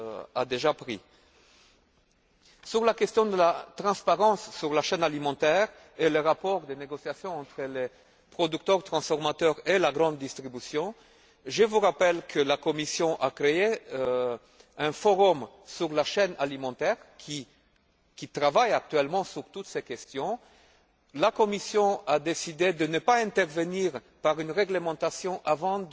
S'agissant de la transparence de la chaîne alimentaire et du rapport de négociation entre les producteurs, les transformateurs et la grande distribution, je vous rappelle que la Commission a créé un forum sur la chaîne alimentaire, qui travaille actuellement sur toutes ces questions. La Commission a décidé de ne pas intervenir par une réglementation avant